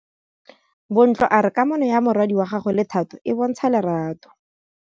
Bontle a re kamanô ya morwadi wa gagwe le Thato e bontsha lerato.